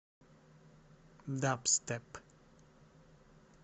дабстеп